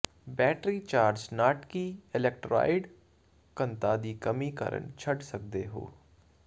battery charge ਨਾਟਕੀ electrolyte ਘਣਤਾ ਦੀ ਕਮੀ ਕਾਰਨ ਛੱਡ ਸਕਦੇ ਹੋ